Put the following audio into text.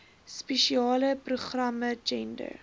spesiale programme gender